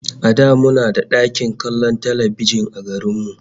A da muna da ɗakin kallon talbijin a garin mu